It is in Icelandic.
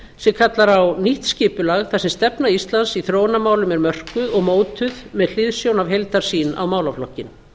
sem kallar á nýtt skipulag þar sem stefna íslands í þróunarmálum er mörkuð og mótuð með hliðsjón af heildarsýn á málaflokkinn